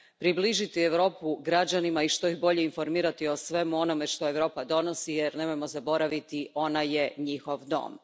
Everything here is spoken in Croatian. Približiti Europu građanima i što bolje ih informirati o svemu onome što Europa donosi jer, nemojmo zaboraviti, ona je njihov dom.